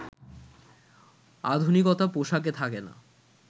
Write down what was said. আধুনিকতা পোশাকে থাকে না